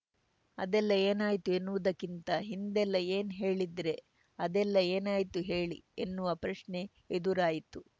ಅದೆಲ್ಲ ಏನಾಯ್ತು ಎನ್ನುವುದಕ್ಕಿಂತ ಹಿಂದೆಲ್ಲ ಏನ್‌ ಹೇಳಿದ್ರೆ ಅದೆಲ್ಲ ಏನಾಯ್ತು ಹೇಳಿ ಎನ್ನುವ ಪ್ರಶ್ನೆ ಎದುರಾಯಿತು